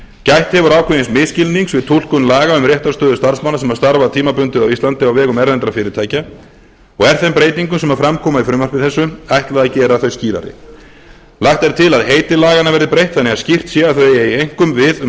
gætt hefur ákveðins misskilnings við túlkun laga um réttarstöðu starfsmanna sem starfa tímabundið á íslandi á vegum erlendra fyrirtækja og er þeim breytingum sem fram koma í frumvarpi þessu ætlað að gera þau skýrari lagt er til að heiti laganna verði breytt þannig að skylt sé að þau eigi einkum við um